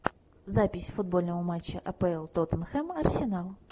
запись футбольного матча апл тоттенхэм арсенал